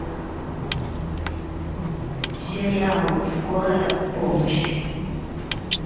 сериал скорая помощь